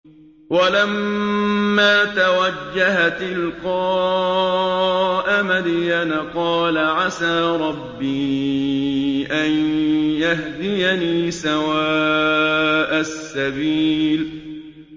وَلَمَّا تَوَجَّهَ تِلْقَاءَ مَدْيَنَ قَالَ عَسَىٰ رَبِّي أَن يَهْدِيَنِي سَوَاءَ السَّبِيلِ